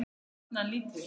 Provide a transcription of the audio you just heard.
Og jafnan lítið.